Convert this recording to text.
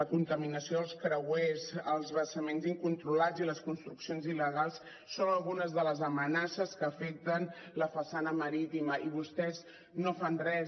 la contaminació dels creuers els vessaments incontrolats i les construccions il·legals són algunes de les amenaces que afecten la façana marítima i vostès no fan res